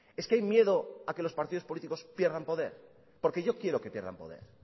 es que hay miedo a que los partidos políticos pierdan poder porque yo quiero que pierdan poder